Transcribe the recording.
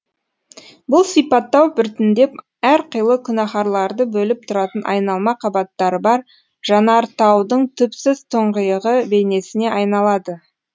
бұл сипаттау біртіндеп әрқилы күнәһарларды бөліп тұратын айналма қабаттары бар жанартаудың түпсіз тұңғиығы бейнесіне айналады